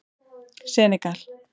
Senegal